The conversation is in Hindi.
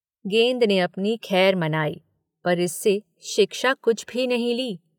गेंद ने अपनी खैर मनाई पर इससे शिक्षा कुछ भी नहीं ली।